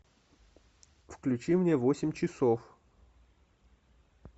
включи мне восемь часов